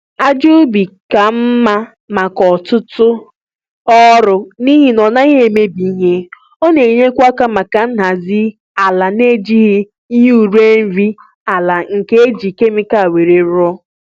Ájá ubi ka mma maka ọtụtụ ọrụ n'ihi na ọ naghị emebi ihe, ọ na-enyekwa aka maka nhazi àlà n'ejighi ihe ure nri àlà nke e jírí kemịkal wéré rụọ